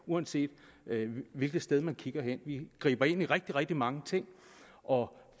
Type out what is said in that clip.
uanset hvilket sted man kigger hen vi griber ind i rigtig rigtig mange ting og